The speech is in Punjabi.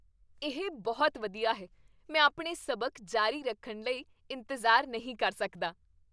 ਇਹ ਬਹੁਤ ਵਧੀਆ ਹੈ! ਮੈਂ ਆਪਣੇ ਸਬਕ ਜਾਰੀ ਰੱਖਣ ਲਈ ਇੰਤਜ਼ਾਰ ਨਹੀਂ ਕਰ ਸਕਦਾ।